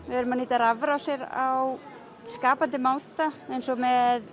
við erum að nýta rafrásir á skapandi máta eins og með